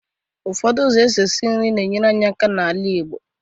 Ụfọdụ ụzọ esi eshi nri na-enyere aka n'ala igbo